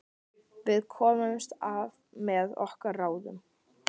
Við komumst af með okkar ráðum.